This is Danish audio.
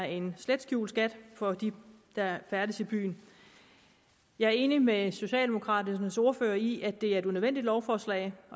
en slet skjult skat for dem der færdes i byen jeg er enig med socialdemokraternes ordfører i at det er et unødvendigt lovforslag